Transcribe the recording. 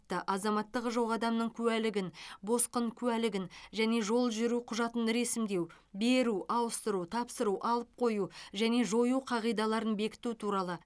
азаматтығы жоқ адамның куәлігін босқын куәлігін және жол жүру құжатын ресімдеу беру ауыстыру тапсыру алып қою және жою қағидаларын бекіту туралы